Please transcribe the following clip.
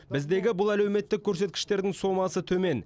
біздегі бұл әлеуметтік көрсеткіштердің сомасы төмен